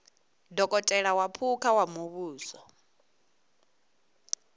dokotela wa phukha wa muvhuso